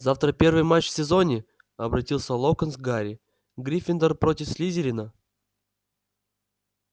завтра первый матч в сезоне обратился локонс к гарри гриффиндор против слизерина